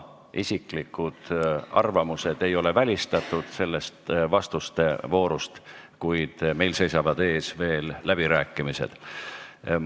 Isiklik arvamus ei ole vastuste voorus välistatud, kuid tuletan meelde, et meil seisavad veel ees läbirääkimised.